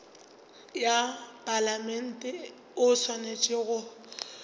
wa palamente o swanetše go